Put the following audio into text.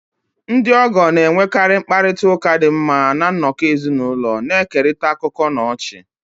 Ndị ogoo na-enwekarị mkparịta ụka dị mma na nnọkọ ezinụlọ, na-ekerịta akụkọ na ọchị.